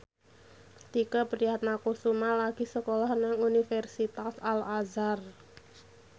Tike Priatnakusuma lagi sekolah nang Universitas Al Azhar